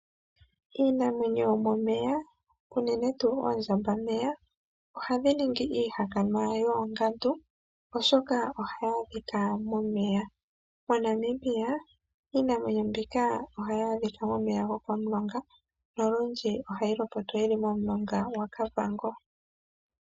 Iinamwenyo yomomeya unene tuu oondjambameya ohadhi ningi iihakanwa yoongandu oshoka ohayi adhika momeya. MoNamibia iinamwenyo mbika ohayi adhika komeya gokom'longa nolundji ohayi lopotwa yili momulonga gwa Kavango.